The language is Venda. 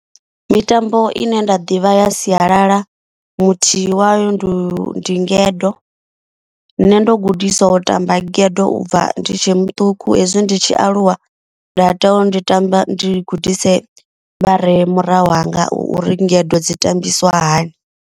Mitambo ine nda ḓivha ya sialala muthihi wayo ndi ndi ngedo. Nṋe ndo gudiswa u tamba ngedo ubva ndi tshe muṱuku hezwi ndi tshi aluwa. Nda tea uri ndi tamba ndi gudise vhare murahu hanga uri ngedo dzi tambisiwa hani.